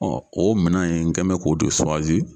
o minɛn in n kɛn mɛ k'o de